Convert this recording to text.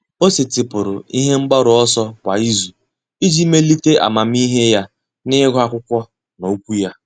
Ọ́ sètị́pụ̀rụ̀ ihe mgbaru ọsọ kwa ìzù iji melite amamihe ya n’ị́gụ́ ákwụ́kwọ́ na okwu ya.